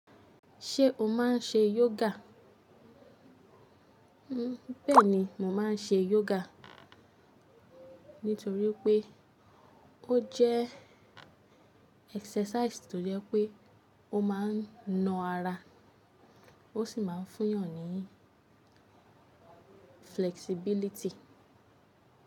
Ṣé o máa ń ṣe yoga? Bẹ́ẹ̀ ni, mo máa ń ṣe yoga nítorí pé ó jẹ́ exercisi tó jẹ́ pé ó máa ń na ara, ó sì máa ń fún yàn ní flexibiliti.